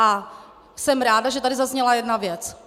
A jsem ráda, že tady zazněla jedna věc.